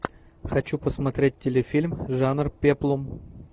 хочу посмотреть телефильм жанр пеплум